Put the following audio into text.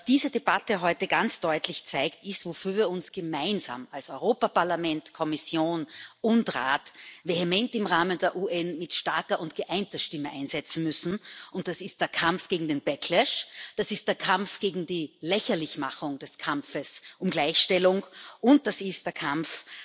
Was diese Debatte heute ganz deutlich zeigt, ist, wofür wir uns gemeinsam als Europäisches Parlament, Kommission und Rat vehement im Rahmen der UN mit starker und geeinter Stimme einsetzen müssen, und das ist der Kampf gegen den Backlash, das ist der Kampf gegen die Lächerlichmachung des Kampfes um Gleichstellung, und das ist der Kampf